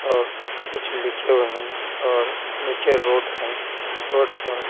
और कुछ लिखे हुए हैं और नीचे रोड है रोड पर--